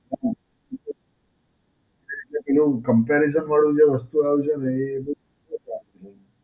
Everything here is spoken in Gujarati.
હાં, પેલું જે પેલું Comparison વાળું જે વસ્તુ આવે છે ને એ બહું